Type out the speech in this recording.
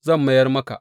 Zan mayar maka.